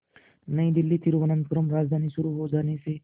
नई दिल्ली तिरुवनंतपुरम राजधानी शुरू हो जाने से